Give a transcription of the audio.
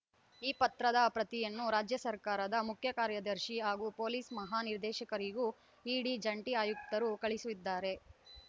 ಈ ಪತ್ರದ ಪ್ರತಿಯನ್ನು ರಾಜ್ಯ ಸರ್ಕಾರದ ಮುಖ್ಯ ಕಾರ್ಯದರ್ಶಿ ಹಾಗೂ ಪೊಲೀಸ್‌ ಮಹಾನಿರ್ದೇಶಕರಿಗೂ ಇಡಿ ಜಂಟಿ ಆಯುಕ್ತರು ಕಳುಹಿಸಿದ್ದಾರೆ